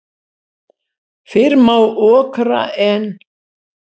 Fyrr má okra en.